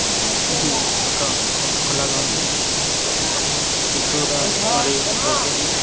ఇది ఒక పార్కు లాగా ఉంది ఈ ఇల్లు చుట్టూరా మరియు బొకేలు --